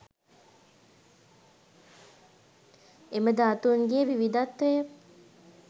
එම ධාතුන්ගේ විවිධත්වය